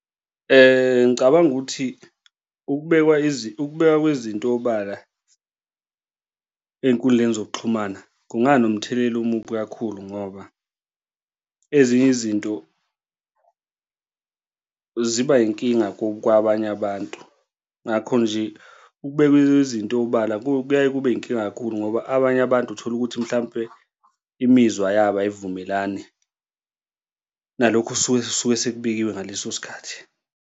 Ngicabanga ukuthi ukubekwa ukubekwa kwezinto obala ey'nkundleni zokuxhumana kunganomthelela omubi kakhulu ngoba ezinye izinto ziba inkinga kwabanye abantu, ngakho nje ukubekwa kwezinto obala kuyaye kube yinkinga kakhulu ngoba abanye abantu uthola ukuthi mhlampe imizwa yabo ayivumelani nalokhu osuke suke sekubekiwe ngaleso sikhathi.